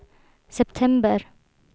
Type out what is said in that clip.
september